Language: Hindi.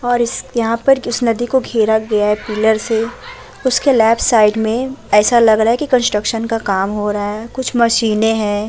और इस यहा पे इस नदी को घेरा गया है पिलर से उसके लेफ्ट साइड मे ऐसा लग रहा है कि कुछ कंस्ट्रक्शन का काम हो रहा है कुछ मशीने हैं ।